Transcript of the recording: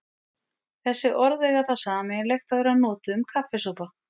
Þessi orð eiga það sameiginlegt að vera notuð um kaffisopa.